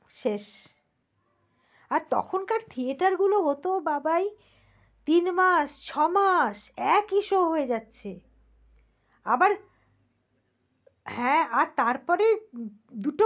শেষ আর তখনকার theater গুলো হত বাবায় তিন মাস, ছ মাস একই show হয়ে যাচ্ছে। আবার হ্যাঁ তারপরে দুটো